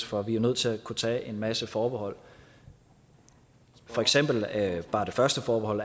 for vi er nødt til at kunne tage en masse forbehold for eksempel er bare det første forbehold